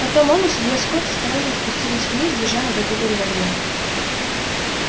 потом он и судья скотт осторожно спустились вниз держа наготове револьверы